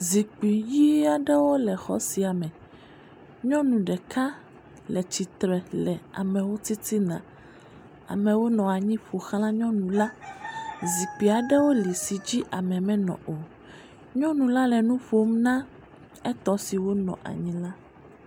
Zikpui ʋɛ̃ aɖewo le xɔ sia me, nyɔnu ɖeka le tsitre le amewo titina. Amewo nɔ anyi ƒo xla nyɔnu la, zikpyui aɖewo li si dzi ame menɔ o, nyɔnu la le nu ƒom na etɔ siwo nɔ anyi la.